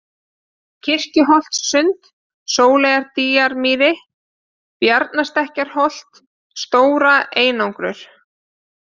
Kirkjuholtssund, Sóleyjardýjamýri, Bjarnastekkjarholt, Stóra-Einangur